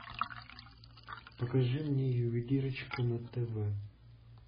покажи мне ювелирочка на тв